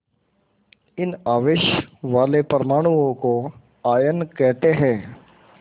इन आवेश वाले परमाणुओं को आयन कहते हैं